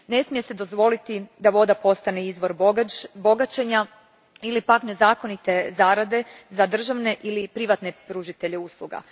Ne smije se dozvoliti da voda postane izvor bogaćenja ili pak nezakonite zarade za državne ili privatne pružatelje usluga.